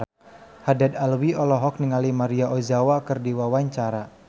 Haddad Alwi olohok ningali Maria Ozawa keur diwawancara